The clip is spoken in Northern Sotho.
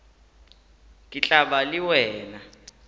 ke tla ba le wena